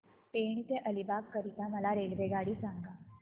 पेण ते अलिबाग करीता मला रेल्वेगाडी सांगा